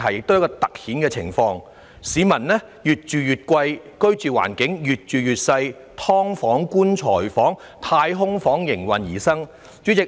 市民繳交的租金越來越高昂，但居住環境卻越見狹小，"劏房"、"棺材房"及"太空房"應運而生。